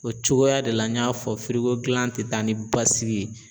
O cogoya de la n y'a fɔ firiko gilan tɛ taa ni basigi ye.